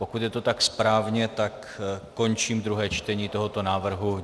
Pokud je to tak správně, tak končím druhé čtení tohoto návrhu.